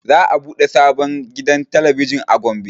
Za a ɓude sabon gidan talabijin a gombe